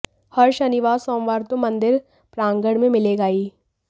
हर शनिवार और सोमवार तो मन्दिर प्रांगण में मिलेगा ही